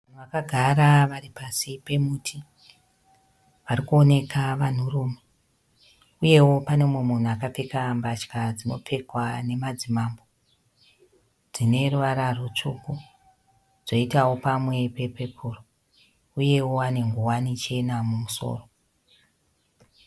Vanhu vakagara varipasi pemuti. Varikuoneka vanhurume. Uyewo pane mumwe munhu akapfeka mbatya dzinopfekwa nemadzimambo. Dzineruvara rutsvuku dzoitawo pamwe pe pepuru uyewo ane nguwani chena mumusoro.